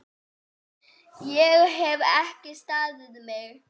Ég hef ekki staðið mig!